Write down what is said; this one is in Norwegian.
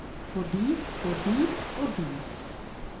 fordi fordi fordi